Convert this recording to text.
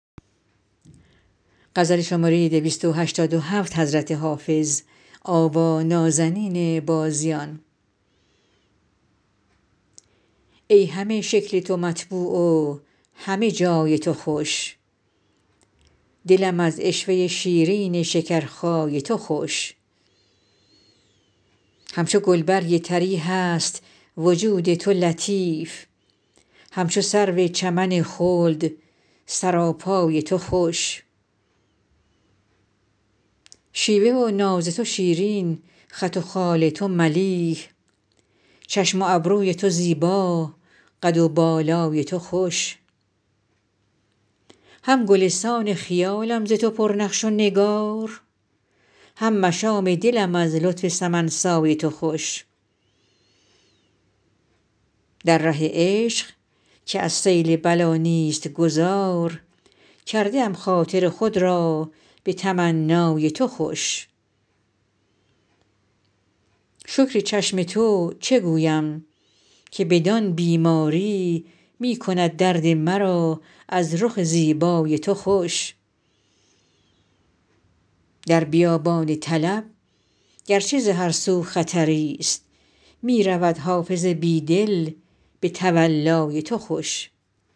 ای همه شکل تو مطبوع و همه جای تو خوش دلم از عشوه شیرین شکرخای تو خوش همچو گلبرگ طری هست وجود تو لطیف همچو سرو چمن خلد سراپای تو خوش شیوه و ناز تو شیرین خط و خال تو ملیح چشم و ابروی تو زیبا قد و بالای تو خوش هم گلستان خیالم ز تو پر نقش و نگار هم مشام دلم از زلف سمن سای تو خوش در ره عشق که از سیل بلا نیست گذار کرده ام خاطر خود را به تمنای تو خوش شکر چشم تو چه گویم که بدان بیماری می کند درد مرا از رخ زیبای تو خوش در بیابان طلب گر چه ز هر سو خطری ست می رود حافظ بی دل به تولای تو خوش